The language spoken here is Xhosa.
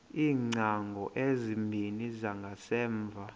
iingcango ezimbini zangasemva